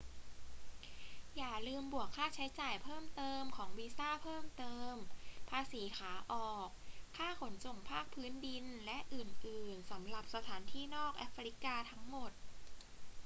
อย่าลืมบวกค่าใช้จ่ายเพิ่มเติมของวีซ่าเพิ่มเติม ภาษีขาออก ค่าขนส่งภาคพื้นดิน และอื่น ๆ สำหรับสถานที่นอกแอฟริกาทั้งหมด